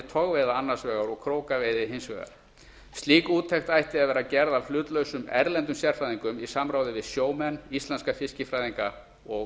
togveiða annars vegar og krókaveiða hins vegar slík úttekt ætti að vera gerð af hlutlausum erlendum sérfræðingum í samráði við sjómenn íslenska fiskifræðinga og